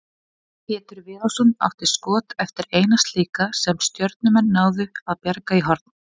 Pétur Viðarsson átti skot eftir eina slíka sem Stjörnumenn náðu að bjarga í horn.